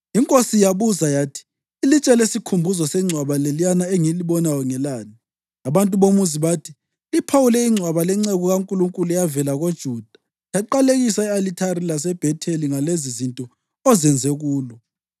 Inkosi yabuza yathi, “Ilitshe lesikhumbuzo sengcwaba leliyana engilibonayo ngelani?” Abantu bomuzi bathi, “Liphawule ingcwaba lenceku kaNkulunkulu eyavela koJuda, yaqalekisa i-alithari laseBhetheli ngalezizinto ozenze kulo.”